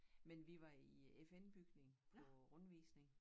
Men vi var i FN bygningen på rundvisning